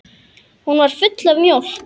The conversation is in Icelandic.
Hún var full af mjólk!